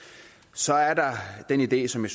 så er der den idé som jeg